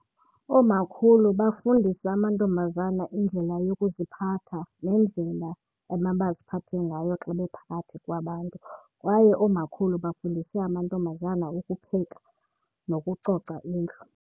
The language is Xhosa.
Oomakhulu bafundisa amantombazana indlela yokuziphatha nendlela emabaziphathe ngayo xa bephakathi kwabantu. Kwaye oomakhulu bafundise amantombazana ukupheka nokucoca indlu.